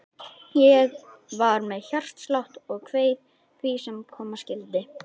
Ég var með hjartslátt og kveið því sem koma skyldi.